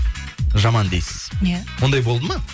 жаман дейсіз иә ондай болды ма